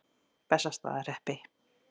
Bessastaðahreppi